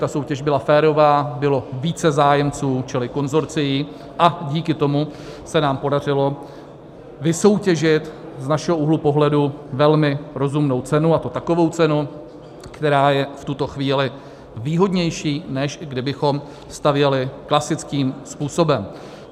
Ta soutěž byla férová, bylo více zájemců čili konsorcií a díky tomu se nám podařilo vysoutěžit z našeho úhlu pohledu velmi rozumnou cenu, a to takovou cenu, která je v tuto chvíli výhodnější, než kdybychom stavěli klasickým způsobem.